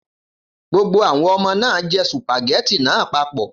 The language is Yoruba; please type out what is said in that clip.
Gbogbo àwọn ọmọ náà jẹ́ sùpàgẹ́tì náà papọ̀.